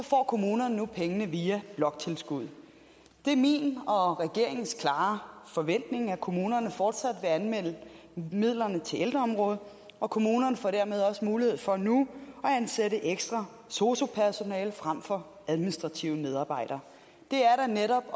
kommunerne nu pengene via bloktilskuddet det er min og regeringens klare forventning at kommunerne fortsat vil anvende midlerne til ældreområdet og kommunerne får dermed også mulighed for nu at ansætte ekstra sosu personale frem for administrative medarbejdere det er da netop